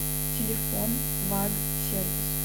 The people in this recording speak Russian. телефон ваг сервис